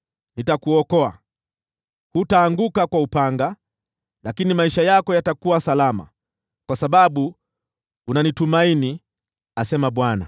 Nitakuokoa; hutaanguka kwa upanga, lakini maisha yako yatakuwa salama, kwa sababu unanitumaini, asema Bwana .’”